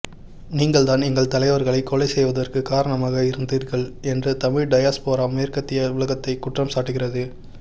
நீங்கள்தான் எங்கள் தலைவர்களை கொலை செய்வதற்கு காரணமாக இருந்தீர்கள் என்று தமிழ் டயஸ்போரா மேற்கத்திய உலகத்தை குற்றம் சாட்டுகிறது